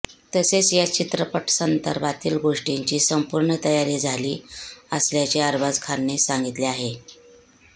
तसेच या चित्रपटासंदर्भातील गोष्टींची संपूर्ण तयारी झाली असल्याचे अरबाज खानने सांगितले आहे